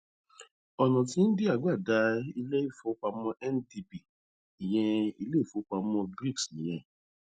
ọnà tí íńdíà gbà dá ilé ìfowópamọ ndb ìyẹn ilé ìfowópamọ brics nìyẹn